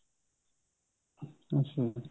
ਅੱਛਾ